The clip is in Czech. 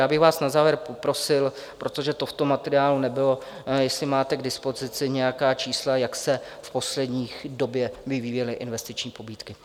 Já bych vás na závěr prosil, protože to v tom materiálu nebylo, jestli máte k dispozici nějaká čísla, jak se v poslední době vyvíjely investiční pobídky.